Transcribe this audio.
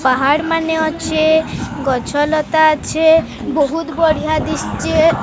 ପାହାଡ଼ମାନେ ଅଛି ଗଛ ଲତା ଅଛି ବହୁତ ବଢିଆ ଦିଶ୍ଚେ ।